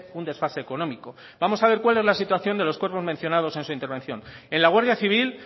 un desfase económico vamos a ver cuál es la situación de los cuerpos mencionados en intervención en la guardia civil